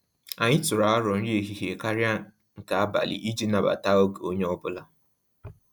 Anyị tụrụ arọ nri ehihie karịa nke abali iji nabata oge onye ọbụla